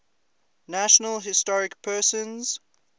national historic persons